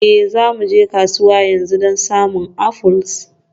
Ee, za mu je kasuwa yanzu don samun apples.